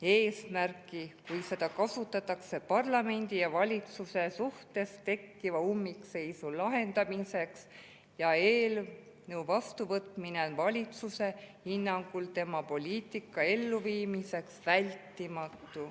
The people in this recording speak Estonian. eesmärki, kui seda kasutatakse parlamendi ja valitsuse suhtes tekkiva ummikseisu lahendamiseks ja eelnõu vastuvõtmine on valitsuse hinnangul tema poliitika elluviimiseks vältimatu.